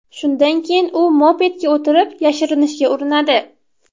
Shundan keyin u mopedga o‘tirib, yashirinishga urinadi.